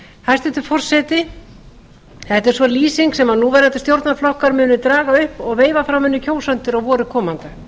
hæstvirtur forseti þetta er sú lýsing sem núverandi stjórnarflokkar munu draga upp og veifa framan í kjósendur á vori komanda